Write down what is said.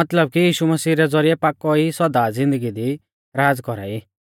मतलब कि यीशु मसीह रै ज़ौरिऐ पाकौ ई सौदा ज़िन्दगी दी राज़ कौरा ई